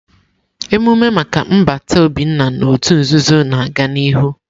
Emume maka nbata Obinna n'òtù nzuzo na-aga n'ihu.